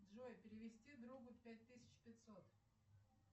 джой перевести другу пять тысяч пятьсот